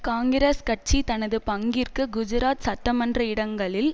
காங்கிரஸ் கட்சி தனது பங்கிற்கு குஜராத் சட்டமன்ற இடங்களில்